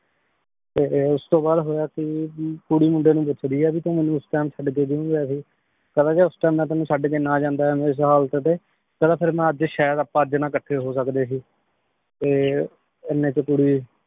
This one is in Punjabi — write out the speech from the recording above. ਤੇ ਓਸ ਤੋਂ ਬਾਅਦ ਹੋਯਾ ਕੀ ਕੁਰੀ ਮੁੰਡੇ ਨੂ ਪੋਚ੍ਦੀ ਆਯ ਭੀ ਤੋ ਮੇਨੂ ਓਸ TIME ਛੱਡ ਕੇ ਕ੍ਯੂ ਗਯਾ ਸੀ? ਕਹੰਦਾ ਜੇ ਓਸ time ਮੈਂ ਤੇਨੁ ਚੜ ਕੇ ਨਾ ਜਾਂਦਾ ਏਨੀ ਸਾਲ ਕਦੀ ਕਹੰਦਾ ਫੇਰ ਮੈਂ ਆਜ ਸਹੀਦ ਆਪਾਂ ਅਜ ਨਾ ਇਕੱਠੇ ਹੋ ਸਕਦੇ ਸੀ ਤੇ ਏਨੀ ਚ ਕੁਰੀ